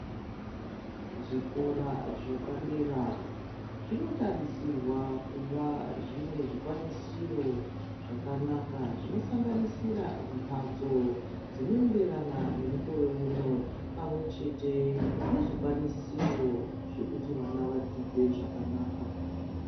Zvikora zvapadera zvino tarisirwa kuva zvinezvi kwanisiro zvakanaka zvino sanganisira mhatso dzino enderana nemukoreu no pamwe chete nezvi kwanisiro zvekuti vana vadzidze zvakanaka.